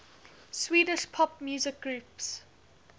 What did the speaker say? swedish pop music groups